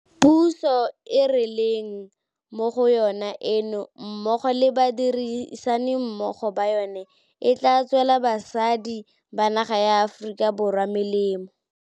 Puso e re leng mo go yona eno mmogo le badirisanimmogo ba yona e tla tswela basadi ba naga ya Aforika Borwa molemo.